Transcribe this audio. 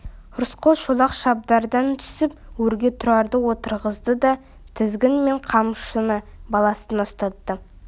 рысқұл шолақ шабдардан түсіп өрге тұрарды отырғызды да тізгін мен қамшыны баласына ұстатты